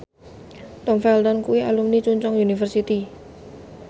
Tom Felton kuwi alumni Chungceong University